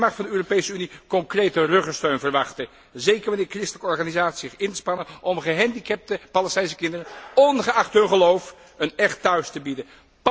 Zij mag van de Europese Unie concrete ruggensteun verwachten, zeker wanneer christelijke organisaties zich inspannen om gehandicapte Palestijnse kinderen, ongeacht hun geloof, een echt thuis te bieden.